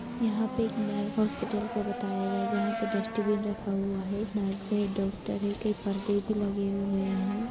यहाँ पे एक नर हॉस्पिटल का बताया गया है जहा पे डस्ट्बिन रखा हुआ है नर्स है डॉक्टर है कई पर्दे भी लगे हुए है।